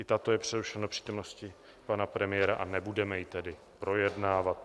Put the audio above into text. I tato je přerušena do přítomnosti pana premiéra, a nebudeme ji tedy projednávat.